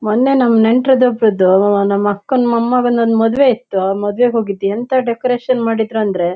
ಮೊನ್ನೆ ನಮ್ ನೆಂಟರದ ಒಬ್ಬರಿದು ನಮ್ಮ್ ಅಕ್ಕನ ಮೊಮ್ಮಗನ್ ಒಂದ್ ಮದುವೆ ಇತ್ತು. ಮದುವೆಗೆ ಹೋಗಿದ್ವಿ ಎಂತಾ ಡೆಕೊರೆಶನ್ ಮಾಡಿದ್ರಂದ್ರೆ--